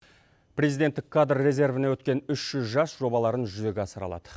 президенттік кадр резервіне өткен үш жүз жас жобаларын жүзеге асыра алады